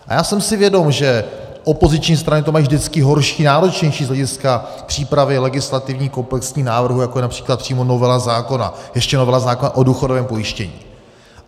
A já jsem si vědom, že opoziční strany to mají vždycky horší, náročnější z hlediska přípravy legislativních komplexních návrhů, jako je například přímo novela zákona, ještě novela zákona o důchodovém pojištění.